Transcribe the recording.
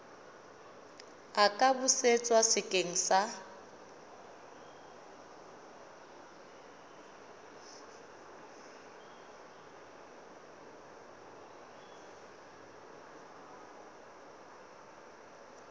a ka busetswa sekeng sa